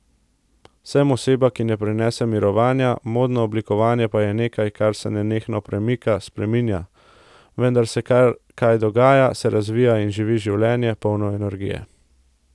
Sem oseba, ki ne prenese mirovanja, modno oblikovanje pa je nekaj, kar se nenehno premika, spreminja, vedno se kaj dogaja, se razvija in živi življenje, polno energije.